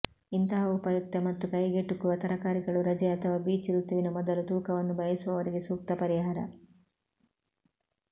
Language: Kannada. ಇಂತಹ ಉಪಯುಕ್ತ ಮತ್ತು ಕೈಗೆಟುಕುವ ತರಕಾರಿಗಳು ರಜೆ ಅಥವಾ ಬೀಚ್ ಋತುವಿನ ಮೊದಲು ತೂಕವನ್ನು ಬಯಸುವವರಿಗೆ ಸೂಕ್ತ ಪರಿಹಾರ